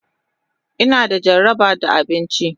Ina da jaraba da abinci.